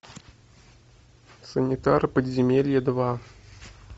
санитары подземелий два